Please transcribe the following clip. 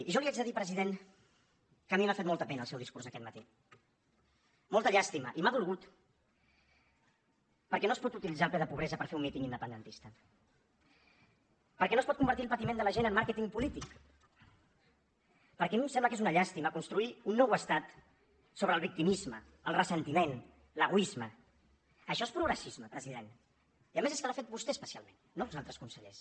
i jo li haig de dir president que a mi m’ha fet molta pena el seu discurs aquest matí molta llàstima i m’ha dolgut perquè no es pot utilitzar el ple de pobresa per fer un míting independentista perquè no es pot convertir el patiment de la gent en màrqueting polític perquè a mi em sembla que és una llàstima construir un nou estat sobre el victimisme el ressentiment l’egoisme això és progressisme president i a més és que l’ha fet vostè especialment no els altres consellers